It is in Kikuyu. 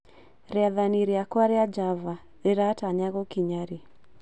Rĩathani rĩakwa rĩa Java rĩratanya gũkinya rĩ